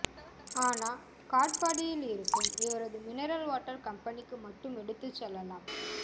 ஆனா காட்பாடியிலிருக்கும் இவரது மினரல் வாட்டர் கம்பெனிக்கு மட்டும் எடுத்துச் செல்லலாம்